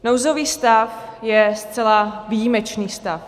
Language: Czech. Nouzový stav je zcela výjimečný stav.